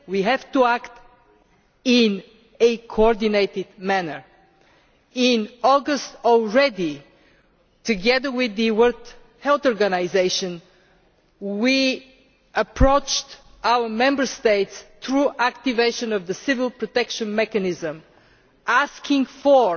We have to act in a coordinated manner. Already in August, together with the World Health Organisation, we approached our Member States by activating the Civil Protection Mechanism asking for